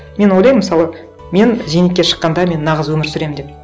мен ойлаймын мысалы мен зейнетке шыққанда мен нағыз өмір сүремін деп